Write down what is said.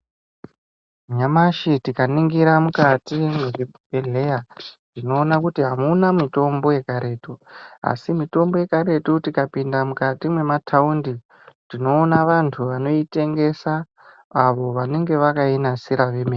Nyamashi tikaringira mukati mwezvibhehleya tinoona kuti amuna mutombo yekaretu asi mitombo yekaretu tikapinda mukati mwemataundi tinoona vantu vanoitengesa avo vanenge vakaigadzira vemene.